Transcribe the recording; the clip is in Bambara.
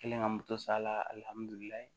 Kɛlen ka moto sala alihamudulila